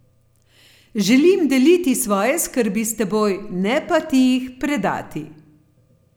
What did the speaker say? Želim deliti svoje skrbi s teboj, ne pa ti jih predati.